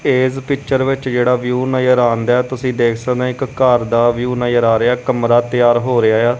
ਤੇ ਏਸ ਪਿਚਰ ਵਿੱਚ ਜਿਹੜਾ ਵਿਊ ਨਜ਼ਰ ਆਉਂਦਯਾ ਤੁਸੀਂ ਦੇਖ ਸਕਦੇ ਹ ਇੱਕ ਘਰ ਦਾ ਵਿਊ ਨਜਰ ਆ ਰਿਹਾ ਕਮਰਾ ਤਿਆਰ ਹੋ ਰਿਹਾ ਆ।